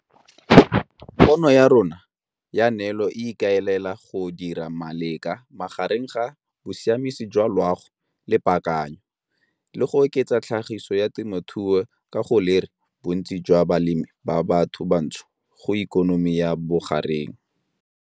Pono ya rona ya neelo e ikaelela go dira maleka magareng ga bosiamisi jwa loago le paakanyo, le go oketsa tlhagiso ya temothuo ka go lere bontsi jwa balemi ba batho bantsho go ikonomi ya bogareng.